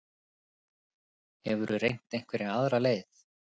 Hefurðu reynt einhverja aðra leið?